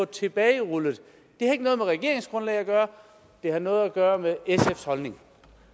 tilbagerullet har ikke noget med regeringsgrundlag at gøre det har noget at gøre med sfs holdning